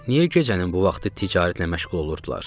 Niyə gecənin bu vaxtı ticarətlə məşğul olurdular?